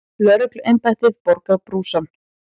Lögregluembættið borgar brúsann.